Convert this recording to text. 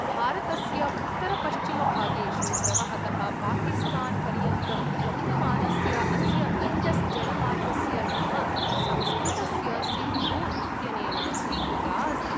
भारतस्य उत्तरपश्चिमभागेषु प्रवहतः पाकिस्तान् पर्यन्तं गम्यमानस्य अस्य इण्डस् जलमार्गस्य नाम संस्कृतस्य सिन्धु इत्यनेन स्वीकृता अस्ति।